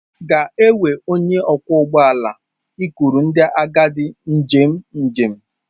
Ga-ewe onye ọkwọ ụgbọ ala ikuru ndị agadi njem njem.